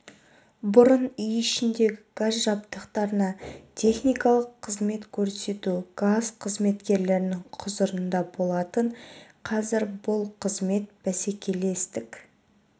бұрын үй ішіндегі газ жабдықтарына техникалық қызмет көрсету газ қызметкерлерінің құзырында болатын қазір бұл қызмет бәсекелестік